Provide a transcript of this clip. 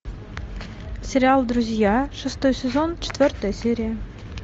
сериал друзья шестой сезон четвертая серия